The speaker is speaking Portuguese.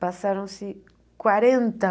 Passaram-se quarenta